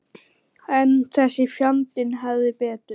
En þessi fjandi hafði betur.